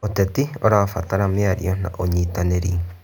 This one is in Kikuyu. Ũteti ũrabatara mĩario na ũnyitanĩri.